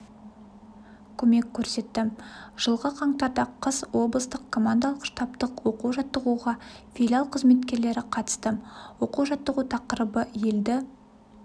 көмек көрсетті жылғы қаңтарда қыс облыстық командалық-штабтық оқу жаттығуға филиал қызметкерлері қатысты оқу-жаттығу тақырыбы елді